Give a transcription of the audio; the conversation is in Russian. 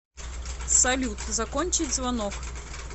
салют закончить звонок